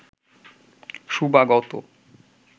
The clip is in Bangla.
শুভাগত